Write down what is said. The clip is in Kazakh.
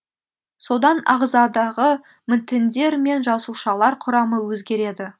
содан ағзадағы тіндер мен жасаушылар құрамы өзгереді